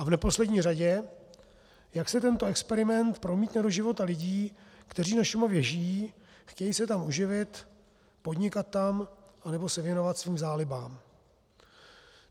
A v neposlední řadě, jak se tento experiment promítne do života lidí, kteří na Šumavě žijí, chtějí se tam uživit, podnikat tam nebo se věnovat svým zálibám?